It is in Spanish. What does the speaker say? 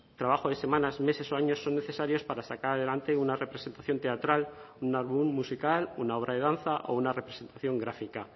trabajo de semanas meses o años son necesarios para sacar adelante una representación teatral un álbum musical una obra de danza o una representación gráfica